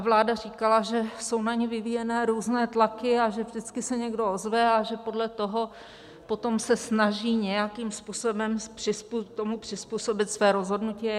A vláda říkala, že jsou na ni vyvíjené různé tlaky a že vždycky se někdo ozve a že podle toho potom se snaží nějakým způsobem tomu přizpůsobit své rozhodnutí.